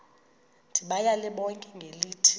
ndibayale bonke ngelithi